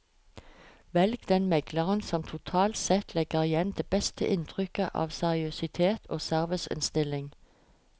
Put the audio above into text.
Velg den megleren som totalt sett legger igjen det beste inntrykket av seriøsitet og serviceinnstilling.